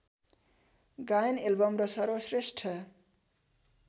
गायन एल्बम र सर्वश्रेष्ठ